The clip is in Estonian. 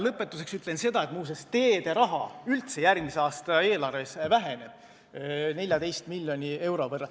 Lõpetuseks ütlen ma seda, et teede raha väheneb järgmise aasta eelarves 14 miljoni euro võrra.